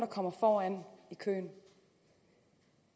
kommer foran i køen